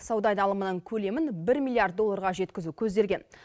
сауда айналымының көлемін бір миилиард долларға жеткізу көзделген